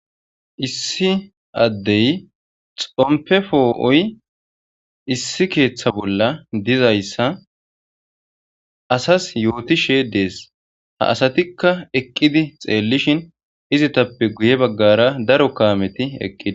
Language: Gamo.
Issi addey xompe foo7oy issi keeththa bolla dizayssa asas yootishe dees ha asatikka eqqidi xeellishin izitappe guye baggara daro kaameti eqqidi.